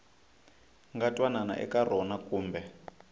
nga twanana eka rona kumbe